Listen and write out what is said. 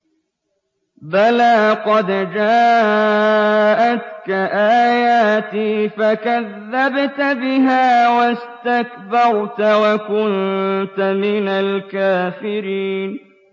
بَلَىٰ قَدْ جَاءَتْكَ آيَاتِي فَكَذَّبْتَ بِهَا وَاسْتَكْبَرْتَ وَكُنتَ مِنَ الْكَافِرِينَ